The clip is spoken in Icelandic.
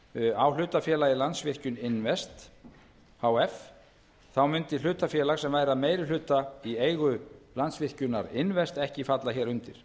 á hlutafélagið landsvirkjun invest h f þá myndi hlutafélag sem væri að meiri hluta í eigu landsvirkjunar invest h f ekki falla hér undir